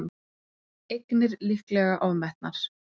Eignir líklega ofmetnar